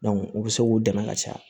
u bɛ se k'u dɛmɛ ka caya